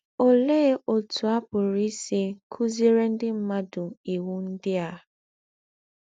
Óléé ótú à pùrù ísí kùzíèrè ndí́ m̀mùàdù íwú ndí́ à?